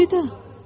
Əlvida!